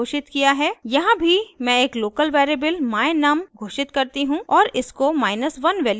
यहाँ भी मैं एक लोकल वेरिएबल my_num घोषित करती हूँ और इसको 1 वैल्यू देती हूँ